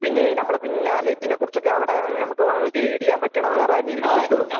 പിന്നേ നമ്മടെ പിന്നാലെ ഇതിനെക്കുറിച്ചൊക്കെ അവിടെ നമ്മക്ക് ഗൈഡ് ചെയ്യാൻ പറ്റണ വേറെ ആരെയെങ്കിലും കിട്ടുമോ?